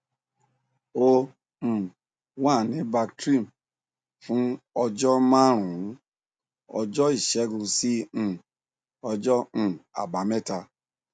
ó um wà ní bactrim fún ọjọ márùnún ọjọ ìṣẹgun sí um ọjọ um àbámẹta